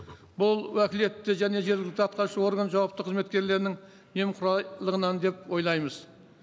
бұл уәкілетті және жергілікті атқарушы орган жауапты қызметкерлерінің немқұрайлығынан деп ойлаймыз